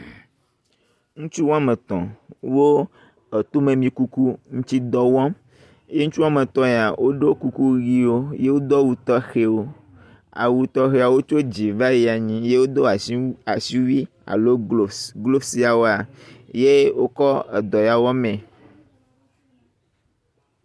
Ŋutsu woametɔ, wo etome amikukuŋutsidɔ wɔm ye ŋutsu woame etɔ ya woɖo kuku ʋiwo ye wodo awu tɔxɛwo. Awu tɔxɛwo wotso dzi va yi anyi ye wodo asi asiwui alo glovu. Glovu yeawoa ye wokɔ edɔ ya wɔ mee